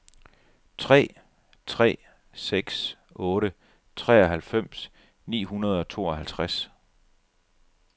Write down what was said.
tre tre seks otte treoghalvfems ni hundrede og tooghalvtreds